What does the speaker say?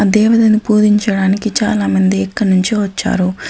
ఆ దేవదను పూదించడానికి చాలామంది ఎక్కడినుంచో వచ్చారు.